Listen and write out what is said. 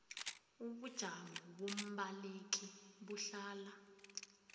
ubujamo bombaleki buhlala